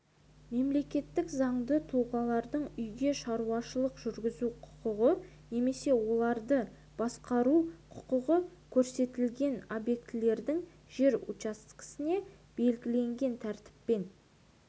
мемлекеттік заңды тұлғалардың үйге шаруашылық жүргізу құқығы немесе оралымды басқару құқығы көрсетілген объектілердің жер учаскесіне белгіленген тәртіппен